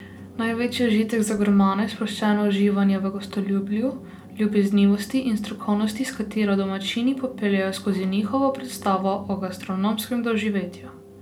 Največji užitek za gurmane je sproščeno uživanje v gostoljubju, ljubeznivosti in strokovnosti, s katero domačini popeljejo skozi njihovo predstavo o gastronomskem doživetju.